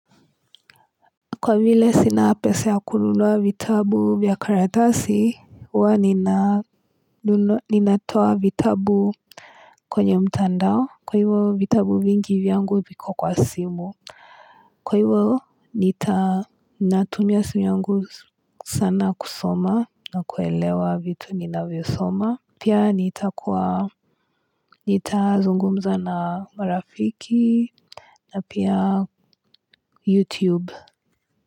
Kwa vile sina pesa ya kununua vitabu vya karatasi huwa ninatoa vitabu kwenye mtandao kwa hivyo vitabu vingi vyangu viko kwa simu kwa hivyo natumia simu yangu sana kusoma na kuelewa vitu ninavyosoma pia nitakuwa nitazungumza na marafiki na pia youtube.